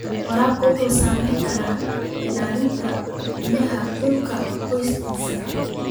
Waraabka wuxuu saameyn karaa ilaha biyaha dhulka hoostiisa.